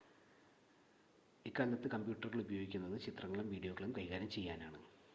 ഇക്കാലത്ത് കമ്പ്യൂട്ടറുകൾ ഉപയോഗിക്കുന്നത് ചിത്രങ്ങളും വീഡിയോകളും കൈകാര്യം ചെയ്യാനാണ്